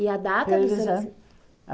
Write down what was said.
E a data de seu nasci